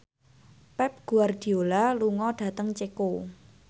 Pep Guardiola lunga dhateng Ceko